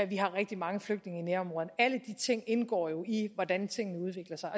vi har rigtig mange flygtninge i nærområderne alle de ting indgår jo i hvordan tingene udvikler sig